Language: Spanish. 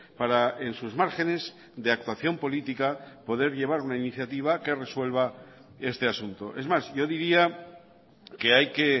para en sus márgenes de actuación política poder llevar una iniciativa que resuelva este asunto es más yo diría que hay que